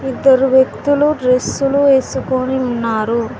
ఇద్దరు వ్యక్తులు డ్రెస్సులు వేసుకొని ఉన్నారు.